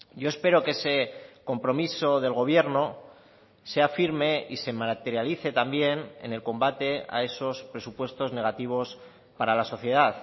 yo espero que ese compromiso del gobierno sea firme y se materialice también en el combate a esos presupuestos negativos para la sociedad